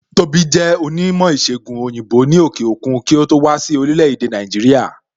Tóbi jẹ onímò ìsègùn òyìnbó ni òkè òkun kí ó tó wá sí orílẹ̀ èdè Nàìjíríà